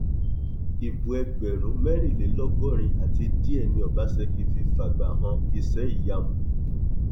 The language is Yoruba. ibo ẹgbẹrún mẹrìnlélọgọrin àti díẹ ni ọbaṣẹkí fi fàgbà han iṣẹìyamù